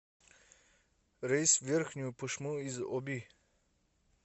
рейс в верхнюю пышму из оби